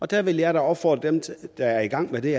der vil jeg opfordre dem der er i gang med det